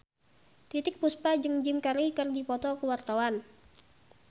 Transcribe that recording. Titiek Puspa jeung Jim Carey keur dipoto ku wartawan